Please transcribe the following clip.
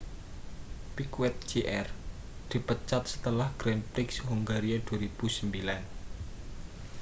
piquet jr dipecat setelah grand prix hongaria 2009